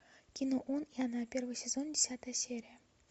кино он и она первый сезон десятая серия